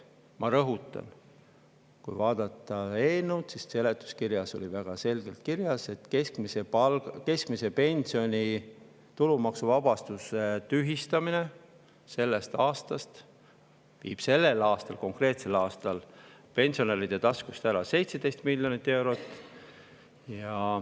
Ma rõhutan: kui vaadata eelnõu seletuskirja, siis seal on väga selgelt kirjas, et keskmise pensioni tulumaksuvabastuse tühistamine sellest aastast viib sellel konkreetsel aastal pensionäride taskust ära 17 miljonit eurot.